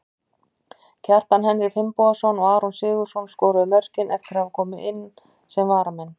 Kjartan Henry Finnbogason og Aron Sigurðarson skoruðu mörkin eftir að hafa komið inn sem varamenn.